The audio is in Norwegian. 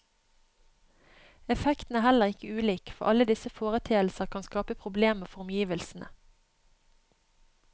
Effekten er heller ikke ulik, for alle disse foreteelser kan skape problemer for omgivelsene.